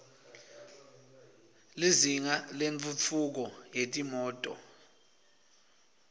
lizinga lentfutfu ko yetimoto